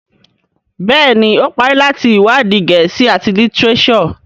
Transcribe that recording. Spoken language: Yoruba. Béèni o parí láti iwadi Gèésì at litireso.